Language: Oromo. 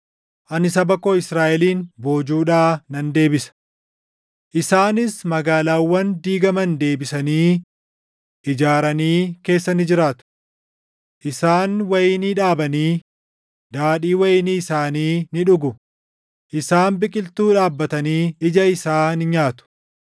Ani saba koo Israaʼelin boojuudhaa nan deebisa. “Isaanis magaalaawwan diigaman deebisanii ijaaranii keessa ni jiraatu. Isaan wayinii dhaabanii, daadhii wayinii isaanii ni dhugu; isaan biqiltuu dhaabbatanii ija isaa ni nyaatu.